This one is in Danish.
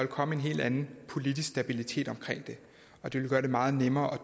komme en helt anden politisk stabilitet omkring det og det ville gøre det meget nemmere at